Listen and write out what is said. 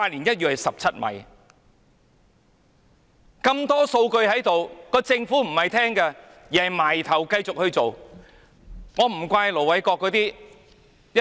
有這麼多數據，政府卻不聽取，而是埋頭繼續去推行填海計劃。